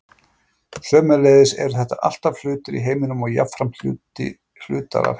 Sömuleiðis eru þetta allt hlutir í heiminum og jafnframt hlutar af heiminum.